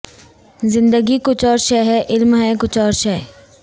زندگی کچھ اور شے ہے علم ہے کچھ اور شے